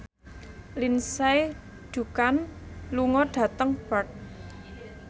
Lindsay Ducan lunga dhateng Perth